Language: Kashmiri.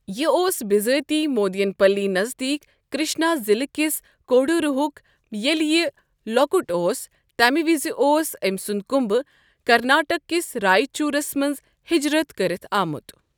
یہِ اوس بِزٲتی مودین پلی نزدیٖک کرشنا ضلعہٕ کِس کوڈوروہُک، ییٚلہِ یہِ لۄکُٹ اوس تمہِ وِزِ اوس أمۍسُند كُمبہٕ کرناٹک کِس رائچورَس منٛز ہجرَت کٔرتھ آمُت ۔